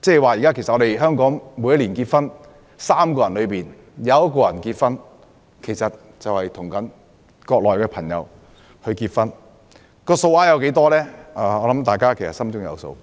即現時香港每年的結婚宗數每3個人便有1個是與國內人結婚，至於數目多少，我相信大家心中有數。